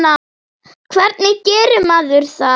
Hvernig gerir maður það?